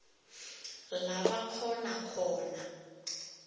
la bakghona khona